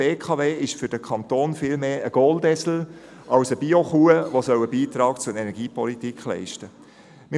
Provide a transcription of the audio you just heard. Die BKW ist für den Kanton viel mehr ein Goldesel als eine Bio-Kuh, die einen Beitrag zur Energiepolitik leisten soll.